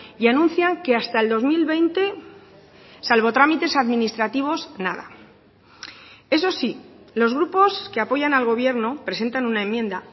y anuncian que hasta el dos mil veinte salvo trámites administrativos nada eso sí los grupos que apoyan al gobierno presentan una enmienda